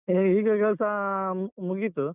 ಹೇ ಈಗ ಕೆಲ್ಸ ಅಹ್ ಮು~ ಮುಗೀತು.